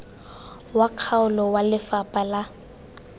wa kgaolo wa lefapha la